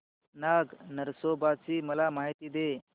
नाग नरसोबा ची मला माहिती दे